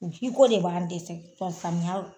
Jiko de b'an dɛsɛ samiya